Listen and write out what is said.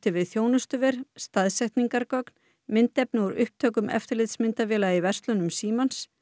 við þjónustuver myndefni úr upptökum eftirlitsmyndavéla í verslunum Símans